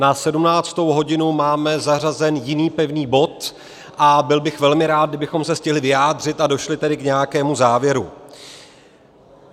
Na 17. hodinu máme zařazen jiný pevný bod a byl bych velmi rád, kdybychom se stihli vyjádřit a došli tedy k nějakému závěru.